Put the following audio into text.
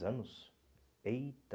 anos? Eita